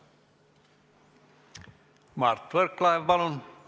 Mart Võrklaev, palun!